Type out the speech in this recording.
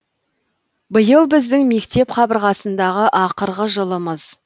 биыл біздің мектеп қабырғасындағы ақырғы жылымыз